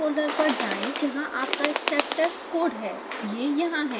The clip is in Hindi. उस फोल्डर पर जाएँ जहाँ आपका स्टेप टेस्ट कोड है